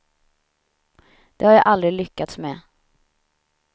Det har jag aldrig lyckats med.